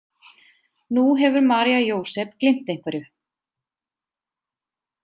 Nú hefur María Jósep gleymt einhverju.